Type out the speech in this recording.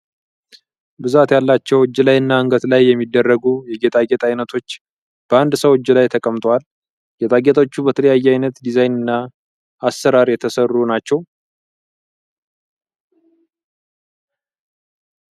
ብዛት ያላቸው እጅ ላይ እና አንገት ላይ የሚደረጉ የጌጣጌጥ አይነቶች በአንድ ሰው እጅ ላይ ተቀምጠዋል። ጌጣጌጦቹ በተለያየ አይነት ዲዛይን እና አሰራር የተሰሩ ናቸው።